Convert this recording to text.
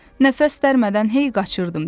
Nəfəs dərmədən hey qaçırdım.